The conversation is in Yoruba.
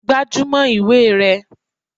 Gbájúmọ́ ìwé rẹ!